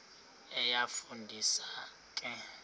iyafu ndisa ke